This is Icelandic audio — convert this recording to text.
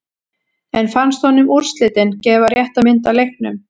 En fannst honum úrslitin gefa rétta mynd af leiknum?